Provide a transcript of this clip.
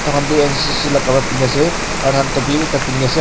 tai khan toh ncc la kapara pindi ne ase aru tai khan topi bi ekta pindi ne ase aru.